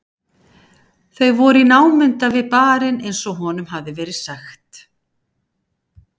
Þau voru í námunda við barinn eins og honum hafði verið sagt.